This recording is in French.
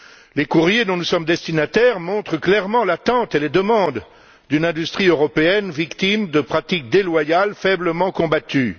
Les courriers dont nous sommes destinataires montrent clairement l'attente et les demandes d'une industrie européenne victime de pratiques déloyales faiblement combattues.